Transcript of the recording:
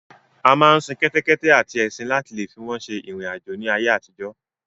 A máa ń sin kẹ́tẹ́kẹ́tẹ́ àti ẹṣin láti leè fi wọ́n ṣe ìrìn àjò ní ayé àtijọ́.